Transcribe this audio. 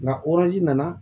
Nka nana